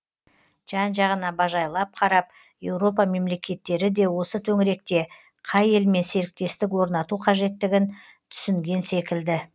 жан жағына бажайлап қарап еуропа мемлекеттері де осы төңіректе қай елмен серіктестік орнату қажеттігін түсінген секілді